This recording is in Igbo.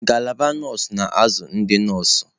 Ngalaba nọọsụ na-azụ ndị nọọsụ.